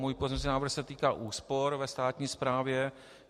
Můj pozměňovací návrh se týká úspor ve státní správě.